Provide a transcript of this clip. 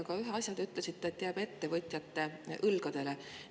Aga ühe asja kohta te ütlesite, et see jääb ettevõtjate õlgadele.